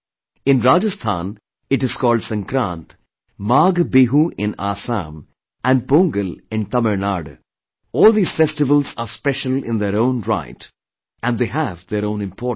In Rajasthan, it is called Sankrant, Maghbihu in Assam and Pongal in Tamil Nadu all these festivals are special in their own right and they have their own importance